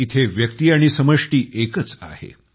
येथे व्यक्ती आणि समष्टि एकच आहे